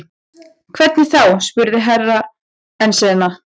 Hvernig þá spurði Herra Enzana.